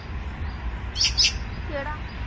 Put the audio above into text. ਕਿਹੜਾ